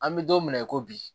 An bɛ don min na i ko bi